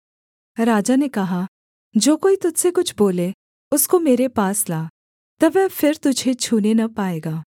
राजा ने कहा जो कोई तुझ से कुछ बोले उसको मेरे पास ला तब वह फिर तुझे छूने न पाएगा